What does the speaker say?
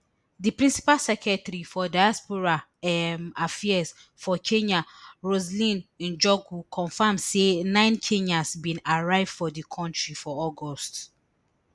di principal secretary for diaspora um affairs for kenya roseline njogu confam say nine kenyans bin arrive for di kontri for august